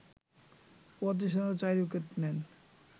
৩৫ রানে ৪ উইকেট নেন